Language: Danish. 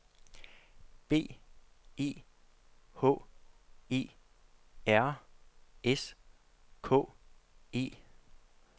B E H E R S K E